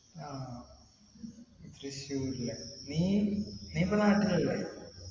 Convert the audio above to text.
ആഹ് തൃശ്ശൂര് ല്ലേ നീ നീ ഇപ്പൊ നാട്ടിൽ അല്ലെ